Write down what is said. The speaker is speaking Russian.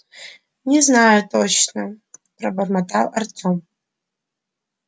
не знаю точно пробормотал артем